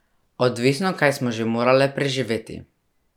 Odvisno, kaj smo že morale preživeti.